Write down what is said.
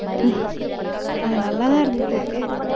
அது நல்லாத்தான் இருந்துச்சு.